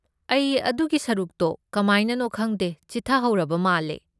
ꯑꯩ ꯑꯗꯨꯒꯤ ꯁꯔꯨꯛꯇꯣ ꯀꯃꯥꯏꯅꯅꯣ ꯈꯪꯗꯦ ꯆꯤꯠꯊꯍꯧꯔꯕ ꯃꯥꯜꯂꯦ꯫